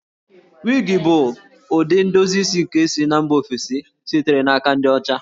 Wig bụ ụdị ndozi isi nke si na mba ofesi sitere n'aka ndị ọcha